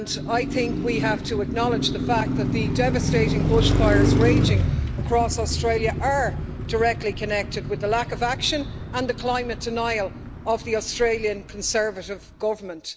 I think we have to acknowledge the fact that the devastating bushfires raging across Australia are directly connected with the lack of action and the climate denial of the Australian Conservative Government.